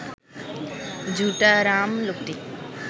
ঝুটারাম লোকটি